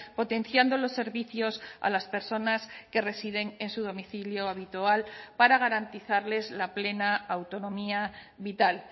potenciando los servicios a las personas que residen en su domicilio habitual para garantizarles la plena autonomía vital